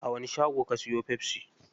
A wani shago ka siyo pepsi?